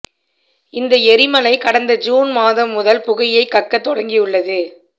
இந்த எரிமலை கடந்த ஜூன் மாதம் முதல் புகையை கக்கத் தொடங்கியுள்ளது